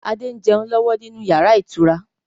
Adé ń jẹun lọ́wọ́ nínú yàrá ìtura.